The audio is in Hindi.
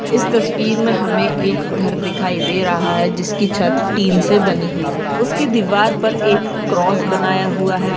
इस तस्वीर में हमे एक घर दिखाई दे रहा है जिसकी छत स्टीलसे बनी हुई है उसकी दीवार पर एक क्रॉस बनाया हुआ है।